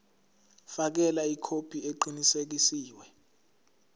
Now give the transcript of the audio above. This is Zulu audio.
fakela ikhophi eqinisekisiwe